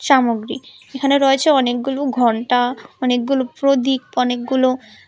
সামগ্রী এখানে রয়েছে অনেকগুলু ঘন্টা অনেকগুলু প্রদীপ অনেকগুলো--